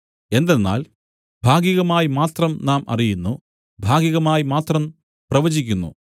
എന്തെന്നാൽ ഭാഗികമായി മാത്രം നാം അറിയുന്നു ഭാഗികമായി മാത്രം പ്രവചിക്കുന്നു